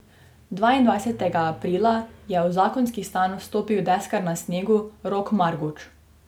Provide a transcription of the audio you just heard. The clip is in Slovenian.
Dvaindvajsetega aprila je v zakonski stan vstopil deskar na snegu Rok Marguč.